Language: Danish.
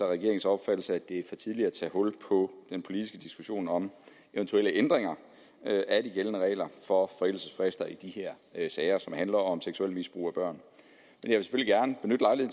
regeringens opfattelse at det er for tidligt at tage hul på den politiske diskussion om eventuelle ændringer af de gældende regler for forældelsesfrister i de her sager som handler om seksuelt misbrug af børn